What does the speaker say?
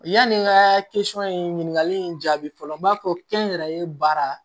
Yani n ka in ɲininkali in jaabi fɔlɔ n b'a fɔ kɛnyɛrɛye baara